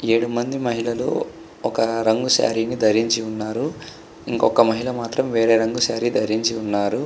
ఏడు మంది మహిళలు ఒక రంగు శారీ ని ధరించి ఉన్నారు. ఇంకొక మహిళ మాత్రం వేరే రంగు శారీ ని ధరించింది.